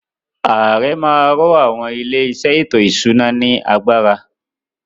Ààrẹ má a ro àwọn “ ilé-iṣẹ́ ètò-ìṣúná ” ní agbára.